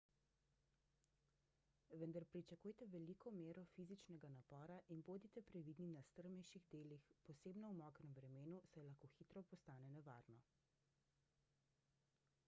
vendar pričakujte veliko mero fizičnega napora in bodite previdni na strmejših delih posebno v mokrem vremenu saj lahko hitro postane nevarno